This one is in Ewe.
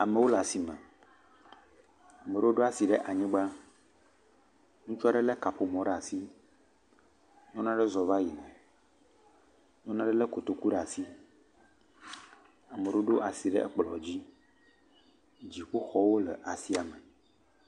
Amowo le asime, amoɖowo ɖo asi ɖe anyigba, ŋutsua ɖe lé kaƒomɔ ɖe asi, nyɔnua ɖe zɔ va yina, nyɔnua ɖe lé kotoku ɖe asi, ameɖowo ɖo asi ɖe ekplɔ̃ dzi, dziƒo xɔwo le asiame.